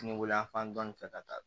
Kungolo yanfan dɔɔnin fɛ ka taa